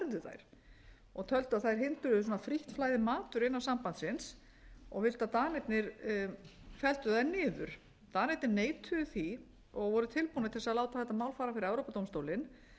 þær og töldu að þær hindruðu svona frítt flæði matvöru innan sambandsins og vildu að danir felldu þær niður danir neituðu því og voru tilbúnir til þess að láta þetta mál fara fyrir evrópudómstólinn